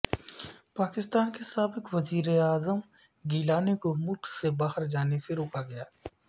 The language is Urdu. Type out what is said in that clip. پاکستان کے سابق وزیر اعظم گیلانی کو ملک سے باہر جانے سے روکا گیا